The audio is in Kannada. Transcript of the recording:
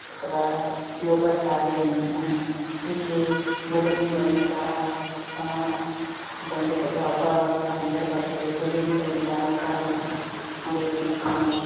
ಅತ್ವಾ ಯೋಗಾಶಾಲೆಯನ್ನು ಇಲ್ಲಿ ಬಲೂನ್ ಗಳಿಂದ ಸಮಾ ಬಂದೂಕೆ ಅತ್ವಾ ಅಬ್ಬಗಳ ಸಂದರ್ಭದಲ್ಲಿ ಬಲೂನು ಗಳಿಂದ ಅಲಂಕಾರವನ್ನು ಮಾಡಿರುವುದನ್ನು ಕಾಣಬಹುದು.